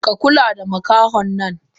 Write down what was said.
Ka kula da makahonnan!